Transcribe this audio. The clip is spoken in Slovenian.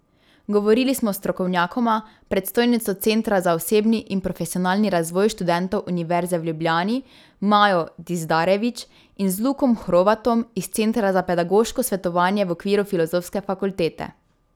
Govorili smo s strokovnjakoma, predstojnico centra za osebni in profesionalni razvoj študentov Univerze v Ljubljani Majo Dizdarević in z Lukom Hrovatom iz centra za pedagoško svetovanje v okviru Filozofske fakultete.